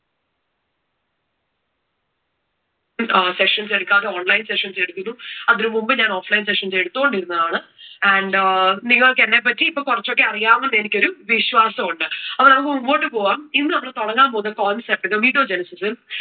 sessions എടുക്കാതെ online sessions എടുക്കുന്നു. അതിനു മുമ്പ് ഞാൻ offline sessions എടുത്തുകൊണ്ടിരുന്നതാണ് and നിങ്ങൾക്കു എന്നെ പറ്റി ഇപ്പോ കുറച്ചൊക്കെ അറിയാമെന്ന് എനിക്കൊരു വിശ്വാസമുണ്ട്. അപ്പോ നമുക്ക് മുമ്പോട്ട് പോകാം. ഇന്ന് നമ്മൾ തുടങ്ങാൻ പോകുന്ന concept spermatogenesis